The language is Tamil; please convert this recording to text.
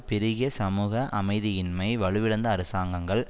பெருகிய சமூக அமைதியின்மை வலுவிழந்த அரசாங்கங்கள்